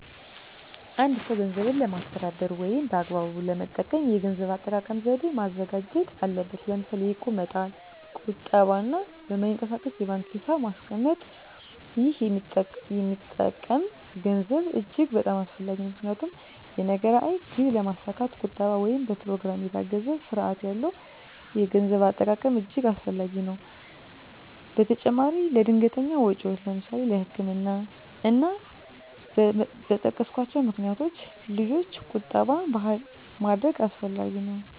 አ አንድ ሰው ገንዘብን ለማስተዳደር ወይም በአግባቡ ለመጠቀም የገንዘብ አጠቃቀም ዘዴ ማዘጋጀት አለበት ለምሳሌ የእቁብ መጣል ቁጠባ እና በማይንቀሳቀስ የባንክ ሒሳብ ማስቀመጥ ይህ የሚቀመጠም ገንዘብ እጅግ በጣም አስፈላጊ ነው ምክንያቱም የነገ ራዕይ ግብ ለማስካት ቁጠባ ወይም በኘሮግራም የታገዘ ስርአት ያለው የገንዘብ አጠቃቀም እጅገ አስፈላጊ ነገር ነው በተጨማራም ለድንገተኛ ወጨወች ለምሳሌ ለህክምና እና እና በጠቀስኮቸው ምክንያቶች ልጆች ቁጠባ ባህላችን ማድረግ አስፈላጊ ነው።